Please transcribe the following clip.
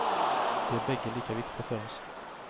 De är bägge lika viktiga för oss.